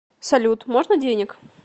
салют можно денег